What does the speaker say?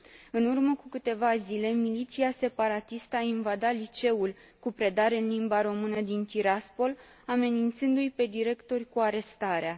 În urmă cu câteva zile, miliția separatistă a invadat liceul cu predare în limba română din Tiraspol, amenințându i pe directori cu arestarea.